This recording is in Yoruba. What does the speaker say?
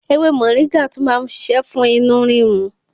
Ewé Mọ̀ríngà tún má ń ṣiṣẹ́ fún inú rírun.